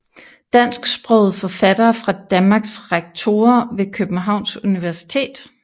Dansksprogede forfattere fra Danmark Rektorer ved Københavns Universitet